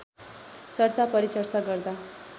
चर्चा परिचर्चा गर्दा